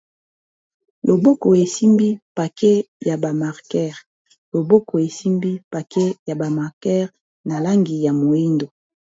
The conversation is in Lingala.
Loboko esimbi pake ya ba marker loboko esimbi pake ya bamarkere na langi ya mwindo.